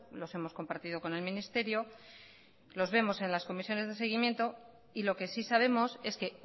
los hemos compartido con el ministerio los vemos en las comisiones de seguimiento y lo que sí sabemos es que